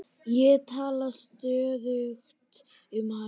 Ég talaði stöðugt um hann.